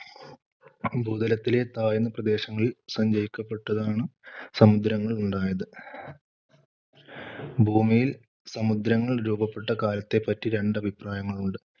ഭൂതലത്തിലെ താഴ്ന്ന പ്രദേശങ്ങളിൽ സഞ്ചയിക്കപ്പെട്ടതാണ് സമുദ്രങ്ങൾ ഉണ്ടായത്. ഭൂമിയിൽ സമുദ്രങ്ങൾ രൂപപ്പെട്ട കാലത്തേപ്പറ്റി രണ്ട് അഭിപ്രായങ്ങളുണ്ട്.